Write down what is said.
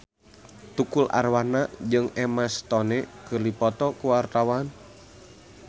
Tukul Arwana jeung Emma Stone keur dipoto ku wartawan